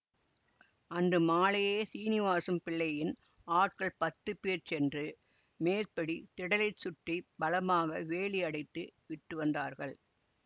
அன்று மாலையே சீனிவாசம் பிள்ளையின் ஆட்கள் பத்துபேர் சென்று மேற்படி திடலைச் சுற்றி பலமாக வேலியடைத்து விட்டு வந்தார்கள்